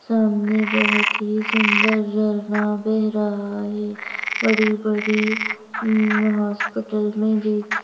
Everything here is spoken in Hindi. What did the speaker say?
सामने बहुत ही सुंदर झरना बह रहा है बड़ी-बड़ीउम्म्म् हॉस्पिटल में देख--